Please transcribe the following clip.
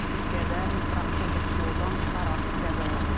Türkiyədə mikroavtobus yoldan çıxaraq qəzaya uğrayıb.